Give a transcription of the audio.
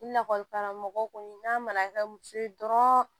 Lakɔlikaramɔgɔ kɔni n'a mana kɛ muso ye dɔrɔn